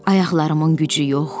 Ayaqlarımın gücü yox.